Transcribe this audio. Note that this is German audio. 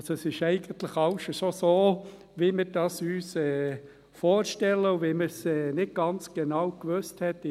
Also: Eigentlich ist schon alles so, wie wir uns dies vorstellen, und wie man es in der ersten Lesung nicht ganz genau gewusst hat.